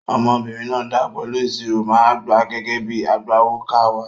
Ọmọbìnrin náà dáa pẹ̀lú ìṣirò, màá gbà á gẹ́gẹ́ bíi agbawókà wa.